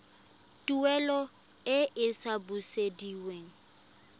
tuelo e e sa busediweng